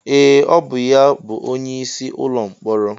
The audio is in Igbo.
Ee! Ọ bụ ya bụ onyeisi ụlọ mkpọrọ.